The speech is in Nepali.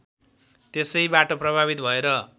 त्यसैबाट प्रभावित भएर